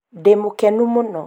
ndĩmũkenu mũno